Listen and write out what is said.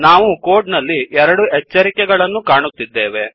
ನಾವು ಕೋಡ್ ನಲ್ಲಿ ೨ ಎಚ್ಚರಿಕೆ ಗಳನ್ನು ಕಾಣುತ್ತಿದ್ದೇವೆ